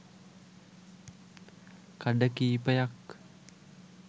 කඩ කීපයක්